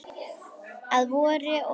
Að vori og hausti.